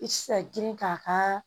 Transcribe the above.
I ti se ka girin k'a ka